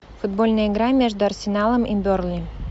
футбольная игра между арсеналом и бернли